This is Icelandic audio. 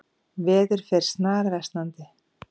Veður fer snarversnandi